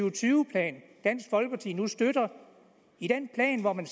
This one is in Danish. og tyve plan dansk folkeparti nu støtter i den plan hvor man